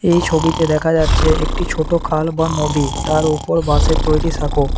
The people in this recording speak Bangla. এই ছবিতে দেখা যাচ্ছে একটি ছোটো খাল বা নদী তার ওপর বাঁশের তৈরি সাঁকো।